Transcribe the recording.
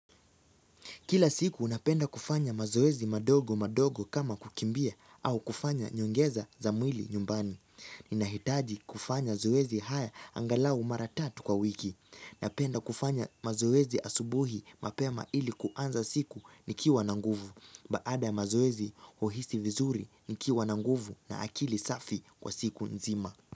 Kila siku napenda kufanya mazoezi madogo madogo kama kukimbia au kufanya nyongeza za mwili nyumbani. Ninahitaji kufanya zoezi haya angalau mara tatu kwa wiki. Napenda kufanya mazoezi asubuhi mapema ili kuanza siku nikiwa na nguvu. Baada ya mazoezi huhisi vizuri nikiwa na nguvu na akili safi kwa siku nzima.